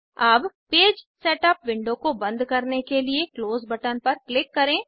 अब page setup window को बंद करने के लिए क्लोज बटन पर क्लिक करें